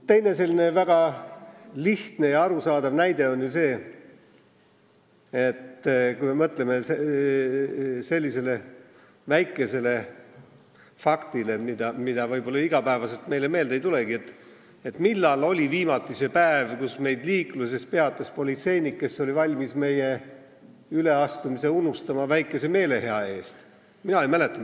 Teine väga lihtne ja arusaadav näide on see: mõtleme sellisele väikesele asjale, mis meile iga päev meelde ei tulegi, et millal oli viimati see päev, kui meid liikluses peatas politseinik, kes oli valmis meie üleastumise väikese meelehea eest unustama.